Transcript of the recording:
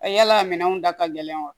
A yala minɛnw da ka gɛlɛn wa